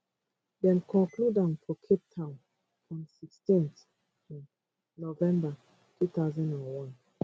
dem conclude am for cape town on 16 um november 2001